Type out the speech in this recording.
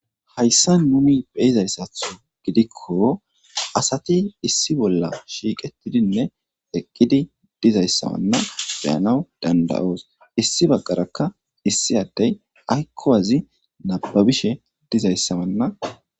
Haysan nuni be'izaysatho gidiko, asati issi bola shiiqetidinne eqqidi dizaysawana be7anaw danda'oos.issi bagaraka issi adey ayko wazi nababishe dizaysa wana